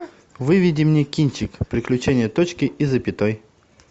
выведи мне кинчик приключение точки и запятой